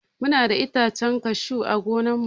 Muna da itacen cashew ã gonan mu.